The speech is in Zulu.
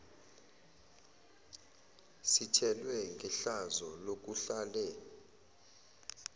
sithelwe ngehlazo lokuhlale